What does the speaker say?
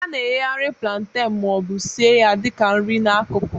A na-eghekarị plantain ma ọ bụ sie ya dị ka nri n'akụkụ.